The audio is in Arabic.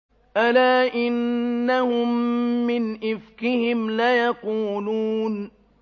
أَلَا إِنَّهُم مِّنْ إِفْكِهِمْ لَيَقُولُونَ